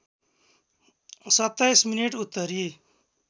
२७ minute उत्तरी